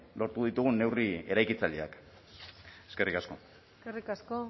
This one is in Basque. lortu ditugun neurri eraikitzaileak eskerrik asko eskerrik asko